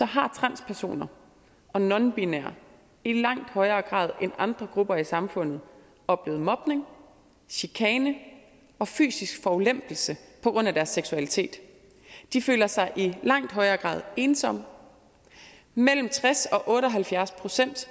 har transpersoner og nonbinære i langt højere grad end andre grupper i samfundet oplevet mobning chikane og fysisk forulempelse på grund af deres seksualitet de føler sig i langt højere grad ensomme mellem tres procent og otte og halvfjerds procent